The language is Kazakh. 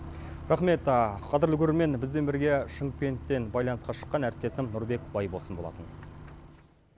рақмет қадірлі көрермен бізбен бірге шымкенттен байланысқа шыққан әріптесім нұрбек байболсын болатын